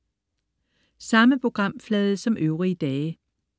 Samme programflade som øvrige dage